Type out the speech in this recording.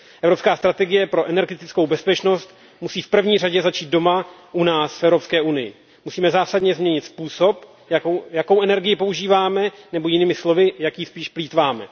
Evropská strategie pro energetickou bezpečnost musí v první řadě začít doma, u nás v Evropské unii. Musíme zásadně změnit způsob, jak energii používáme, nebo jinými slovy, jak jí spíše plýtváme.